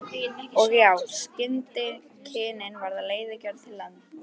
Og já, skyndikynnin verða leiðigjörn til lengdar.